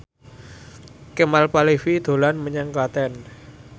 Kemal Palevi dolan menyang Klaten